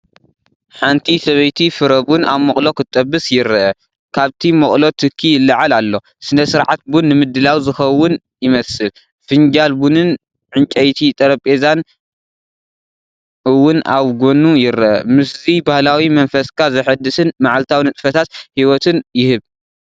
ሓንቲ ሰበይቲ ፍረ ቡን ኣብ ሞቕሎ ክጥበስ ይርአ። ካብቲ ሞቕሎ ትኪ ይለዓል ኣሎ፡ ስነ-ስርዓት ቡን ንምድላው ዝኸውን ይመስል። ፊንጃል ቡንን ዕንጨይቲ ጠረጴዛን እውን ኣብ ጎኑ ይርአ። ምስዚ ባህላዊ መንፈስካ ዘሐድስን መዓልታዊ ንጥፈታት ህይወትን ይህብ።